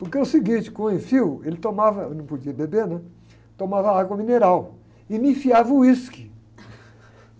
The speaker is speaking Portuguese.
Porque é o seguinte, com o, ele tomava, não podia beber, né? Tomava água mineral e me enfiava whisky.